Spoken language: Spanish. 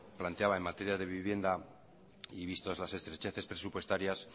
planteaba en materia de vivienda y vistos las estrecheces presupuestarias